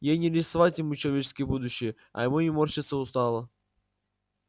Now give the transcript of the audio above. ей не рисовать ему человеческое будущее а ему не морщиться устало